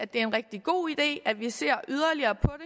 det er en rigtig god idé at vi ser yderligere på